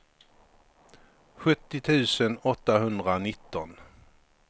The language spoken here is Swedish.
sjuttio tusen åttahundranitton